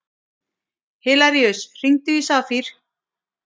Hilaríus, hringdu í Safír.